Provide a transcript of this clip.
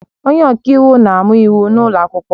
Onye ọka iwu na-amụ Iwu n'ụlọ akwụkwọ